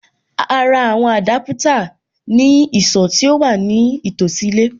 A ra àwọn Adaputa ní ìsọ̀ tí ó wà ní tòsí ilé.